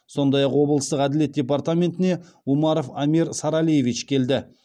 сондай ақ облыстық әділет департаментіне умаров амир саралиевич келді